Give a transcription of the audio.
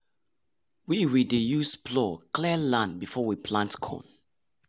we we dey use plough clear land before we plant corn.